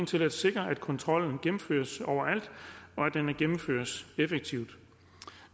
til at sikre at kontrollen gennemføres overalt og at den gennemføres effektivt